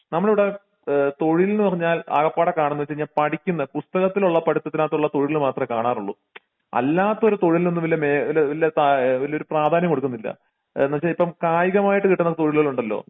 നമ്മളിവിടെ അഹ് തൊഴിൽന്ന് പറഞ്ഞാൽ ആകപ്പാടെ കാണുന്ന വെച്ച് കഴിഞ്ഞാൽ പഠിക്കുന്ന പുസ്തകത്തിലുള്ള പഠിത്തത്തിന് അകത്തുള്ള തൊഴിൽ മാത്രേ കാണാറൊള്ളൂ അല്ലാത്തൊരു തൊഴിൽ ഒന്നും ഇല്ല മെ ഒരു ഇല്ല താ ഒരു പ്രാധാന്യം കൊടുക്കുന്നില്ല എന്ന് വെച്ച ഇപ്പോം കായികമായിട്ട് കിട്ടുന്ന തൊഴിലുകൾ ഉണ്ടല്ലോ